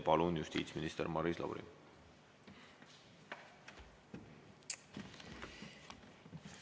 Palun, justiitsminister Maris Lauri!